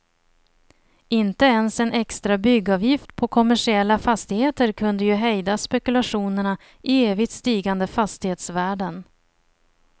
Inte ens en extra byggavgift på kommersiella fastigheter kunde ju hejda spekulationerna i evigt stigande fastighetsvärden.